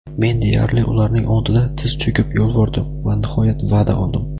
men deyarli ularning oldida tiz cho‘kib yolvordim va nihoyat va’da oldim.